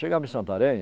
Chegava em Santarém,